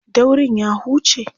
daurin ya huce?